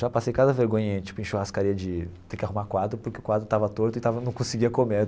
Já passei cada vergonha em tipo em churrascaria de ter que arrumar quadro porque o quadro estava torto e estava não conseguia comer.